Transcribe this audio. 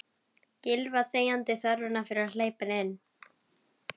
Gylfa þegjandi þörfina fyrir að hleypa henni inn.